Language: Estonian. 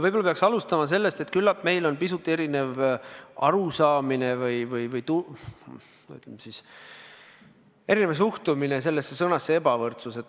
Võib-olla peaks alustama sellest, et küllap meil on pisut erinev arusaamine sõnast "ebavõrdus" või, ütleme, erinev suhtumine sellesse.